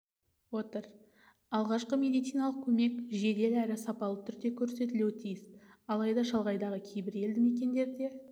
отыр алғашқы медициналық көмек жедел әрі сапалы түрде көрсетілуі тиіс алайда шалғайдағы кейбір елді мекендерде